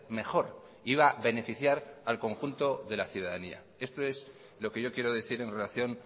mejor iba a beneficiar al conjunto de la ciudadanía esto es lo que yo quiero decir en relación